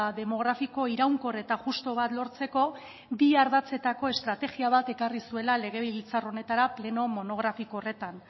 demografiko iraunkor eta justu bat lortzeko bi ardatzetako estrategia bat ekarri zuela legebiltzar honetara pleno monografiko horretan